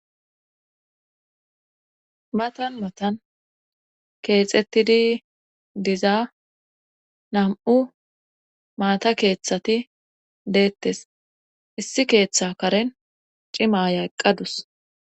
matan matan keexettidi dizaa nam7u maata keeththati deettes issi keeththa karen cima aya eqqadus